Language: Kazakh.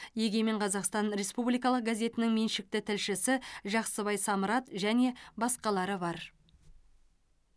егемен қазақстан республикалық газетінің меншікті тілшісі жақсыбай самрат және басқалары бар